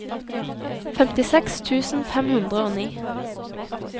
femtiseks tusen fem hundre og ni